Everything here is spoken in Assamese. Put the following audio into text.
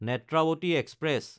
নেত্ৰাৱতী এক্সপ্ৰেছ